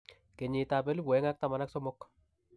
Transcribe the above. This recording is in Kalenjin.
Kenyitab 2013.